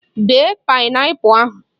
Bee paịnapụl ahụ!